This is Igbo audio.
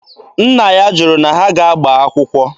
Nna ya jụrụ na ha ga-agba akwụkwọ.